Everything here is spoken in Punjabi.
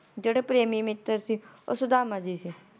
ਜੇੜੇ ਪ੍ਰੇਮੀ ਮਿੱਤਰ ਸੀ, ਉਹ ਸੁਧਾਮਾ ਜੀ ਸੀ ।